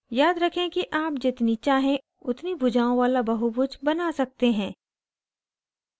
याद रखें कि आप जितनी चाहे उतनी भुजाओं वाला बहुभुज बना सकते हैं